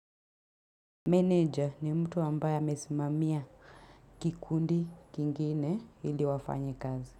Meneja ni mtu ambae amesimamiya kikundi kingine ili wafanye kazi.